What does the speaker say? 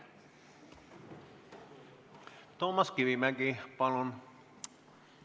Toomas Kivimägi, palun!